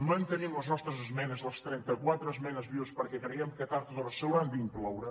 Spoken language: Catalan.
mantenim les nostres esmenes les trenta·quatre esmenes vives perquè creiem que tard o d’hora s’hi hauran d’inclou·re